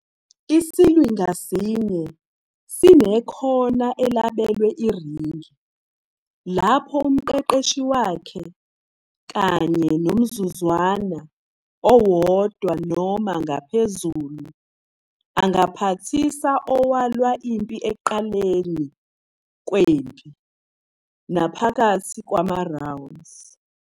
Isilwi ngasinye sinekona elabelwe iringi, lapho umqeqeshi wakhe, kanye "nomzuzwana" owodwa noma ngaphezulu angaphathisa owalwa impi ekuqaleni kwempi naphakathi kwamarounds.